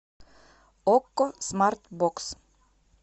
окко смартбокс